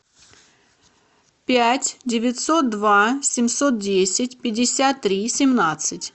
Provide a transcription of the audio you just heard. пять девятьсот два семьсот десять пятьдесят три семнадцать